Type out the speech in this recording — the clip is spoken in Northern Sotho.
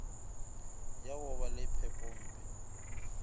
ya go ba le phepompe